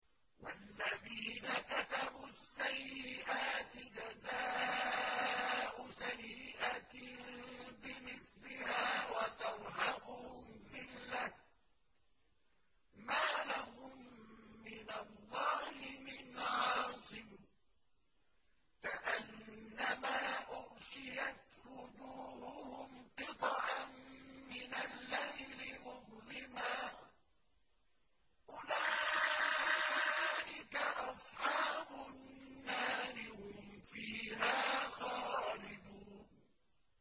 وَالَّذِينَ كَسَبُوا السَّيِّئَاتِ جَزَاءُ سَيِّئَةٍ بِمِثْلِهَا وَتَرْهَقُهُمْ ذِلَّةٌ ۖ مَّا لَهُم مِّنَ اللَّهِ مِنْ عَاصِمٍ ۖ كَأَنَّمَا أُغْشِيَتْ وُجُوهُهُمْ قِطَعًا مِّنَ اللَّيْلِ مُظْلِمًا ۚ أُولَٰئِكَ أَصْحَابُ النَّارِ ۖ هُمْ فِيهَا خَالِدُونَ